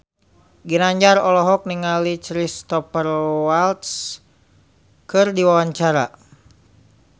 Ginanjar olohok ningali Cristhoper Waltz keur diwawancara